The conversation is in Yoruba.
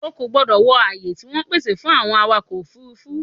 O kò gbọdọ̀ wọ ààyè tí wọ́n pèsè fún àwọn awakọ̀-òfurufú!